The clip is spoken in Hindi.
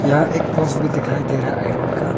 यह एक पोस्ट भी दिखाई दे रहा है आयरन का।